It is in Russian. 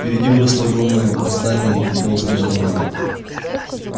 впереди выросло огромное здание из белоснежного мрамора